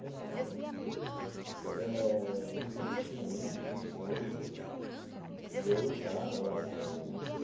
Certo então eh e e não tinha a mínima condição de de eu lutar ao lado dos Sandinistas.